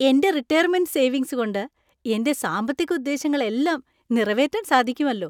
എന്‍റെ retirement savings കൊണ്ട് എന്‍റെ സാമ്പത്തിക ഉദ്ദേശങ്ങളെല്ലാം നിറവേറ്റാൻ സാധിക്കുമെല്ലോ.